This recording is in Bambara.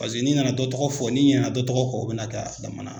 Paseke n'i nana dɔ tɔgɔ fɔ, n'i ɲinana dɔ tɔgɔ kɔ o bɛ na kɛ a damana